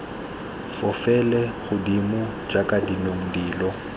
fofele godimo jaaka dinong dilo